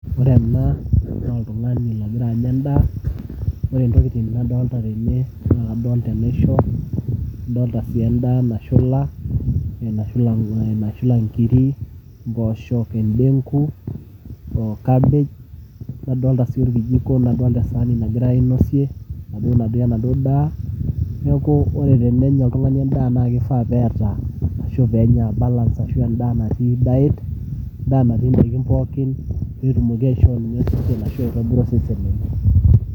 Ore ena naa oltung'ani ogira anya endaa, ore intokitin nadolita tene naa kadolita enaisho adolita sii endaa nashula, nashula inkirik ompoosho, endenku o cabbage nadolita sii orkijiko we saani nagirai aainosie natii enaduo daa neeku ore peenya oltung'ani endaa naa keifaa peeta ashu peenya balance endaa natii diet endaa natii indaikin pookin petumoki aitobira osesen lenye.